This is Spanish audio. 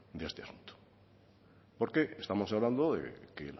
de este asunto porque estamos hablando de que